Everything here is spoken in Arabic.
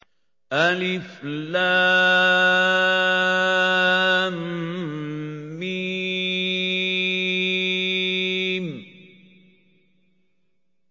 الم